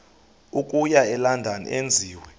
okuya elondon enziwe